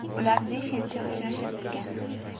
Ular besh yilcha uchrashib yurgan.